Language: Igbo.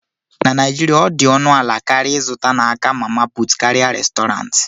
na Naijiria, ọ dị ọnụ ala karịa ịzụta n'aka "mama put" karịa Restọrantị